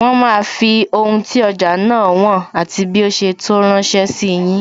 Wọn máa fi ohun tí ọjà náà wọn, àti bí ó ṣe tó ránsẹ́ sí yin